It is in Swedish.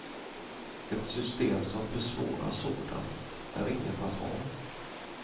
Ett system som försvårar sådant är inget att ha.